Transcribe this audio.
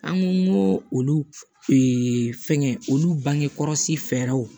An ko olu fɛngɛ olu bange kɔlɔsi fɛɛrɛw